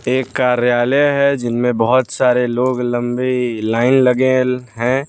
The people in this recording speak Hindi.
एक कार्यालय है जिनमें बहोत सारे लोग लंबे लाइन लगे हैं।